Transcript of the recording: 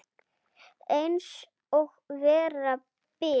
Eins og vera ber.